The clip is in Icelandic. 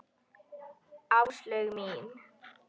Áslaug mín!